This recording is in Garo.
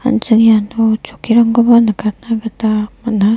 an·ching iano chokkirangkoba nikatna gita man·a.